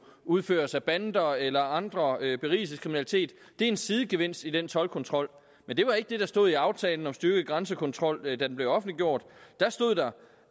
udføres af bander eller andre berigelseskriminalitet er en sidegevinst i den toldkontrol men det var ikke det der stod i aftalen om styrket grænsekontrol da den blev offentliggjort da stod der